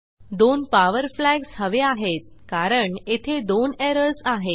दोन power flags हवे आहेत कारण येथे दोन एरर्स आहेत